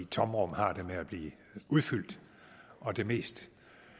tomrum har det med at blive udfyldt det mest